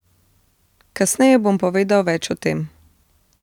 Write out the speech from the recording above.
Kasneje bom povedal več o tem.